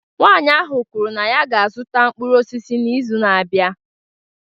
Nwanyị ahụ kwuru na ya ga-azụta mkpụrụ osisi n'izu na-abịa